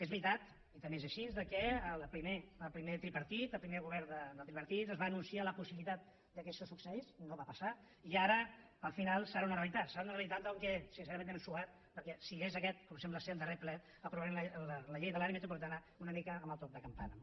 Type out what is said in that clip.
és veritat i també és així que el primer tripartit el primer govern del tripartit ens va anunciar la possibilitat que això succeís no va passar i ara al final serà una realitat serà una realitat encara que sincerament si és aquest com sembla ser el darrer ple aprovarem la llei de l’àrea metropolitana una mica amb el toc de campana